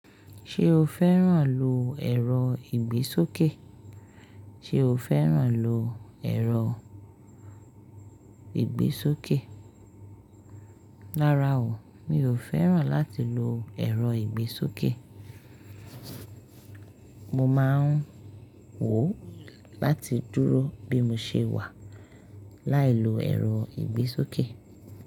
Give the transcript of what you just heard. Ṣé o fẹ́ràn lo ẹ̀rọ ìgbésókè? Ṣe o fẹ́ràn lo ẹ̀rọ ìgbésókè? Rárá o, mi ò fẹ́ràn láti lo ẹ̀rọ ìgbésókè. Mo máa ń wò láti dúró bí mo ṣe wà, láì lo ẹ̀rọ ìgbésókè.